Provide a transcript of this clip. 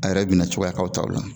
A yɛrɛ bina cogoya k'aw taw la.